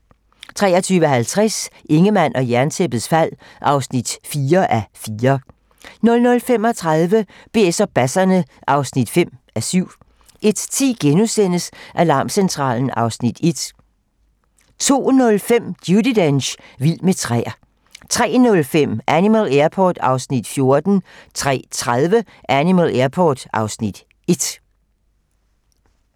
23:50: Ingemann og Jerntæppets fald (4:4) 00:35: BS og basserne (5:7) 01:10: Alarmcentralen (Afs. 1)* 02:05: Judi Dench - vild med træer 03:05: Animal Airport (Afs. 14) 03:30: Animal Airport (Afs. 1)